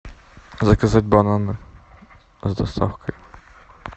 заказать бананы с доставкой